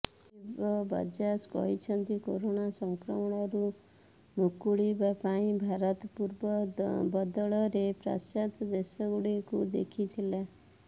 ରାଜୀବ ବଜାଜ କହିଛନ୍ତି କରୋନା ସଂକ୍ରମଣରୁ ମୁକୁଳିବା ପାଇଁ ଭାରତ ପୂର୍ବ ବଦଳରେ ପାଶ୍ଚାତ୍ୟ ଦେଶଗୁଡ଼ିକୁ ଦେଖିଥିଲା